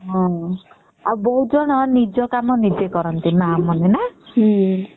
ହୁଁ ଆଉ ବହୁତ ଜଣ ନିଜ କାମ ନିଜେ କରନ୍ତି ମା ମାନେ ନ